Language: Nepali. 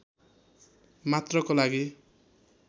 मात्रको लागि